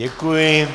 Děkuji.